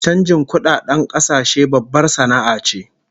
Chanjin kudadedn kasashe babbar sana'a ce